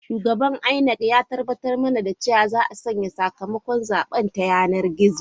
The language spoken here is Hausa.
Shugaban INEC ya tabbatar mana da cewa za a sanya sakamakon zaben ta yanar gizo.